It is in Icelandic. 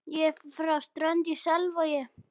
Ég er frá Strönd í Selvogi.